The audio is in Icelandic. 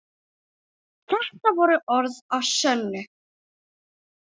Þetta voru orð að sönnu.